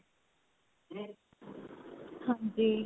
ਹਾਂਜੀ.